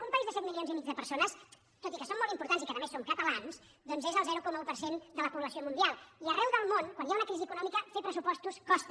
un país de set milions i mig de persones tot i que som molt importants i que a més som catalans doncs és el zero coma un per cent de la població mundial i arreu del món quan hi ha una crisi econòmica fer pressupostos costa